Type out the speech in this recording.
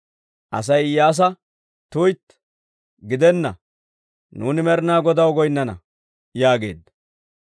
Asay Iyyaasa, «tuytti, gidena! Nuuni Med'ina Godaw goynnana» yaageedda.